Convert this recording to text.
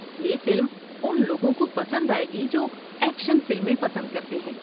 یہ فلم ان لوگوں کو پسند آئے گی جو ایکشن فلمیں پسند کرتے ہیں۔